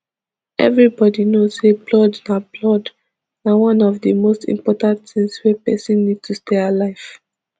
evribody know say blood na blood na one of di most important tins wey pesin need to stay alive